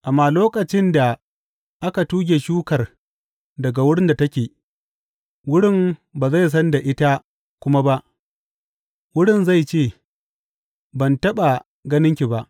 Amma lokacin da aka tuge shukar daga wurin da take, wurin ba zai san da ita kuma ba, wurin zai ce, Ban taɓa ganin ki ba.’